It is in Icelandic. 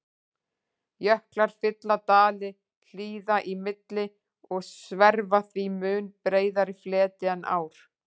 Jöklar fylla dali hlíða í milli og sverfa því mun breiðari fleti en ár.